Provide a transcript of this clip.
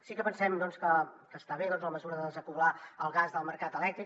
sí que pensem doncs que està bé la mesura de desacoblar el gas del mercat elèctric